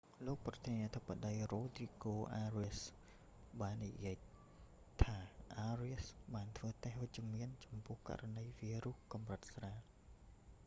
លោកប្រធានាធិបតី រ៉ូទ្រីហ្គោ អារៀស rodrigo arias បាននិយាយថា អារៀស arias បានធ្វើតេស្តវិជ្ជមានចំពោះករណីវីរុសកម្រិតស្រាល